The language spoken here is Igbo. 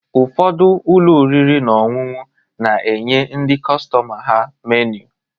Ụfọdụ ụlọ oriri na ọṅụṅụ na-enye ndị kọstọma ha meniu